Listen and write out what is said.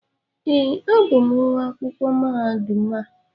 ee, abụ m nwa akwụkwọ mahadum a